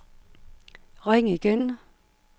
ring igen